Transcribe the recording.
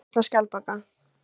Útbreiðsla skjaldbaka.